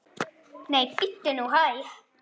Nei, bíddu nú hæg!